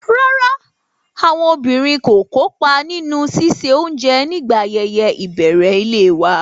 Rárá, àwọn obìnrin kò kópa nínú ṣíṣe oúnjẹ nígbà ayẹyẹ ìbẹ̀rẹ̀ ilé wa.